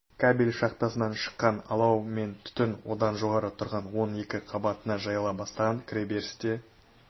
кабель шахтасынан шыққан алау мен түтін одан жоғары тұрған он екі қабатына жайыла бастаған кіреберісте